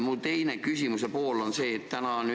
Minu küsimuse teine pool on see.